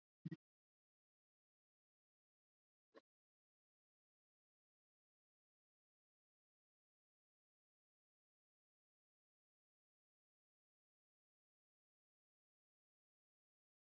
Jafnvel Svenni var ómögulegur stundum.